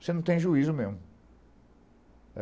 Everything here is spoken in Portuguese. Você não tem juízo mesmo.